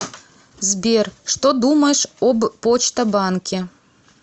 сбер что думаешь об почта банке